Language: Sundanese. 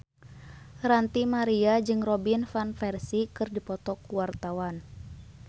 Ranty Maria jeung Robin Van Persie keur dipoto ku wartawan